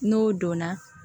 N'o donna